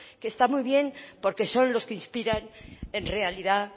que está muy bien porque son los que inspiran en realidad